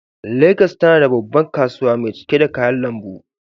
Legas tana da babbar kasuwa mai cike da kayan lambu.